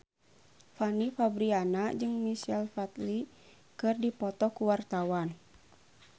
Fanny Fabriana jeung Michael Flatley keur dipoto ku wartawan